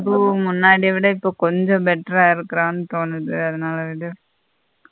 முன்னாடி விட இப்போ கொஞ்சம் better ஆ இருக்குரனு தோணுது அதனால விடு.